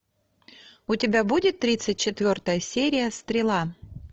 у тебя будет тридцать четвертая серия стрела